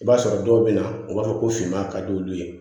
I b'a sɔrɔ dɔw bɛ na u b'a fɔ ko finman ka di olu ye